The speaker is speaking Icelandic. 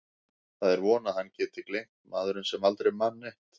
Það er von að hann geti gleymt, maðurinn sem aldrei man neitt.